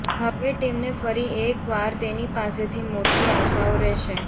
હવે ટીમને ફરી એકવાર તેની પાસેથી મોટી આશાઓ રહેશે